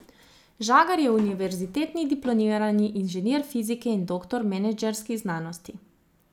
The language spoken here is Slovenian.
Žagar je univerzitetni diplomirani inženir fizike in doktor menedžerskih znanosti.